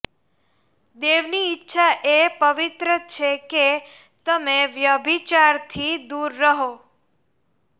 દેવની ઈચ્છા એ પવિત્ર છે કે તમે વ્યભિચારથી દૂર રહો